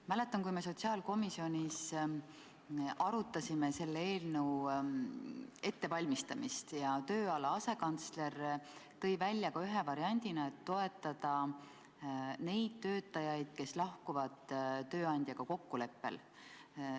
Ma mäletan, kui me sotsiaalkomisjonis arutasime selle eelnõu ettevalmistamist, siis tööala asekantsler tõi ühe variandina välja, et võiks toetada ka neid töötajaid, kes lahkuvad tööandjaga kokkuleppel.